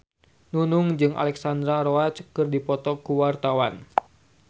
Nunung jeung Alexandra Roach keur dipoto ku wartawan